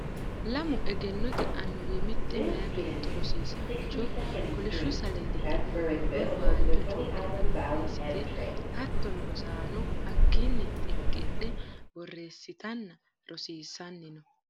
Lamu egennote annuwi mite meya beetto rosiisancho kolishshu saledi iima borro waajo chokeni borreessite hattono rosaano hakkini xinqidhe borreessittanna rosiisanni no.